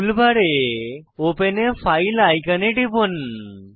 টুল বারে open a file আইকনে টিপুন